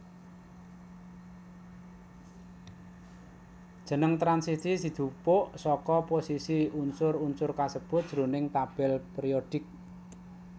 Jeneng transisi dijupuk saka posisi unsur unsur kasebut jroning tabel périodik